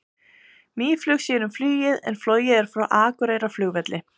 Mýflug sér um flugið en flogið er frá Akureyrarflugvelli.